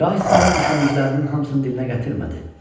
Şah İsmayıl düşündüklərinin hamısını dilinə gətirmədi.